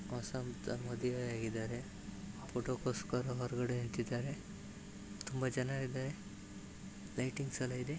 ಹೊಸದಾಗಿ ಮದುವೆ ಆಗಿದರೆ ಫೊಟೊ ಕೋಸ್ಕರ ಹೊರಗಡೆ ನಿಂತಿದರೆ ತುಂಬಾ ಜನ ಇದರೆ ಲೈಟಿಂಗ್ಸ್ ಎಲ್ಲ ಇದೆ.